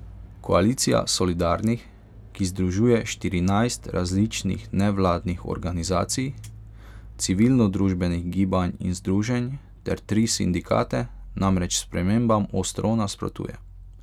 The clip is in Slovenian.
Koalicija solidarnih, ki združuje štirinajst različnih nevladnih organizacij, cilvilnodružbenih gibanj in združenj ter tri sindikate, namreč spremembam ostro nasprotuje.